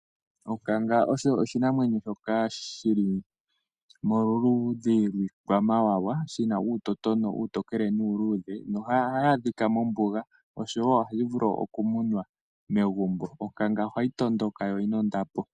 Onkanga osho oshinamwemyo shoka shili moludhi lwiikwamawawa, shina uutotono uutokele nuuluudhe nohayi adhika mombuga oshowo ohayi vulu oku munwa megumbo. Onkanga ohayi tondoka noyi na ondapo.